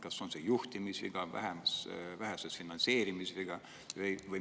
Kas see on juhtimisviga või vähese finantseerimise viga?